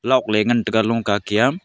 log ley ngan taiga longka Kia.